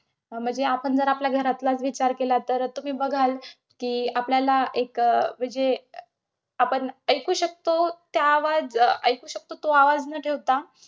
म्हणजे आपण जर आपल्या घरातलाच विचार केला तर तुम्ही बघाल, कि आपल्याला एक म्हणजे आपण ऐकू शकतो त्या आवाज~ ऐकू शकतो तो आवाज न ठेवता,